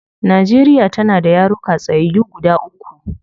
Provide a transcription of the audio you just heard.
Nigeria tana da yaruka tsayyayu guda uku